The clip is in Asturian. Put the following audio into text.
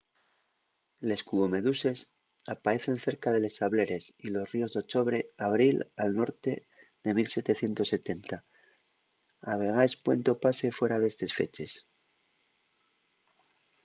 les cubomeduses apaecen cerca de les sableres y los ríos d'ochobre a abril al norte de 1770 a vegaes pueden topase fuera d'estes feches